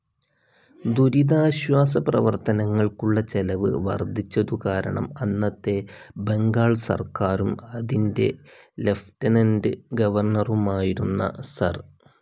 ദുരിതാശ്വാസ പ്രവർത്തനങ്ങൾക്കുള്ള ചെലവ് വർദ്ധിച്ചതുകാരണം അന്നത്തെ ബംഗാൾ സർക്കാരും, അതിൻ്റെ ലിയൂട്ടെനന്റ്‌ ഗവർണറുമായിരുന്ന സർ.